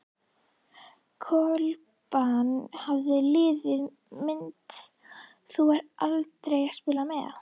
Klobbann Hvaða liði myndir þú aldrei spila með?